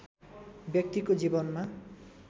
व्यक्तिको जीवनमा